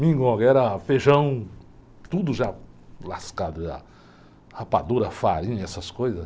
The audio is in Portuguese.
Mingonga era feijão, tudo já lascado já, rapadura, farinha, essas coisas.